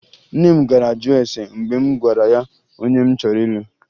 Nne m gara jụọ ese mgbe m gwara ya onye m chọrọ ịlụ